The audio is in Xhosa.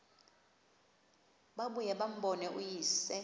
babuye bambone uyise